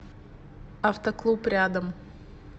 автоклуб рядом